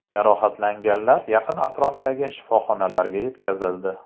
Jarohatlanganlar yaqin atrofdagi shifoxonalarga yetkazildi.